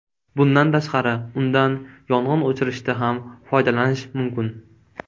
Bundan tashqari, undan yong‘in o‘chirishda ham foydalanish mumkin.